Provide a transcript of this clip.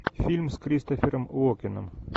фильм с кристофером уокеном